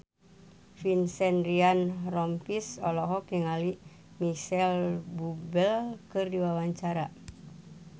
Vincent Ryan Rompies olohok ningali Micheal Bubble keur diwawancara